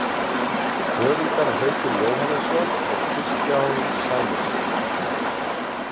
Höfundar Haukur Jóhannesson og Kristján Sæmundsson.